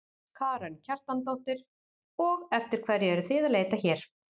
Karen Kjartansdóttir: Og eftir hverju eruð þið að leita hér?